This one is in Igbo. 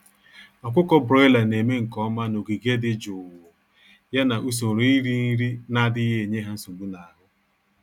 Ọkụkọ broiler némè' nke ọma n'ogige dị jụụ, ya na usoro iri nri n'adịghị enye ha nsogbu n'ahụ